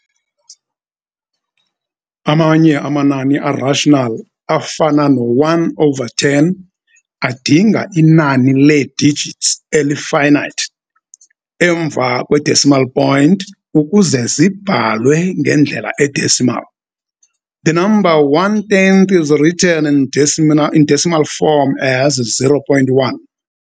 Amanye amanani a-rational, afana no-1 over 10, adinga inani lee-digits eli-finite, emva kwe-decimal point ukuze zibhalwe ngendlela e-decimal. The number one tenth is written in decimal form as 0.1.